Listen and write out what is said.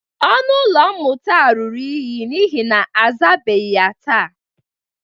Ọnụ ụlọ mmụta a ruru unyi n'ihe na azabeghi ya taa.